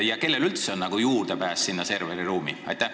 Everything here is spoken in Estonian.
Ja kellel üldse on juurdepääs sinna serveriruumi?